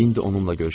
İndi onunla görüşəcəm.